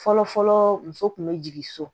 Fɔlɔfɔlɔ muso kun be jigin so